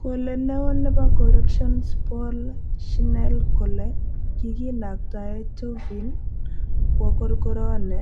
Kole neo nepo Corrections Paul Schnell kole kikinaktae Chauvin kwoo korokoroni